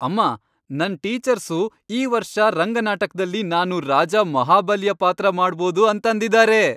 ಅಮ್ಮಾ, ನನ್ ಟೀಚರ್ಸು ಈ ವರ್ಷ ರಂಗ ನಾಟಕ್ದಲ್ಲಿ ನಾನು ರಾಜ ಮಹಾಬಲಿಯ ಪಾತ್ರ ಮಾಡ್ಬೋದು ಅಂತಂದಿದಾರೆ.